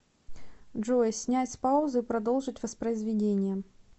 джой снять с паузы и продолжить воспроизведение